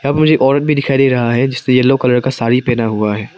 मुझे औरत भी दिखाई दे रहा है जिसने येलो कलर का साड़ी पहना हुआ है।